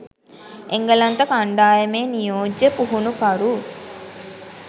එංගලන්ත කණ්ඩායමේ නියෝජ්‍ය පුහුණුකරු